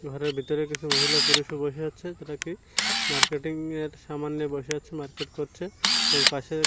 ঘরের ভিতরে কিছু মহিলা পুলিশ -ও বসে আছে মার্কেটিং -এর সামান নিয়ে বসে আছে মার্কেট করছে এবং পাশে--